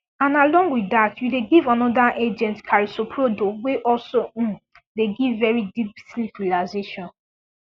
and along with dat you dey give another agent carisoprodol wey also um dey give very deep sleep relaxation